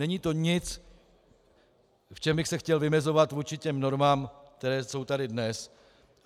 Není to nic, v čem bych se chtěl vymezovat vůči těm normám, které jsou tady dnes.